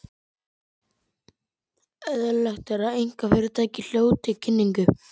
Eðlilegt að einkafyrirtæki hljóti kynningu